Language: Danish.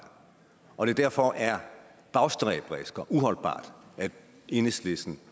og at det derfor er bagstræberisk og uholdbart at enhedslisten